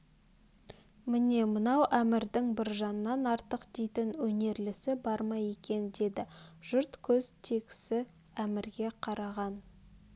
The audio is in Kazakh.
міне мынау әмірдің біржаннан артық дейтін өнерлісі бар ма екен деді жұрт көз тегсі әмрге қараған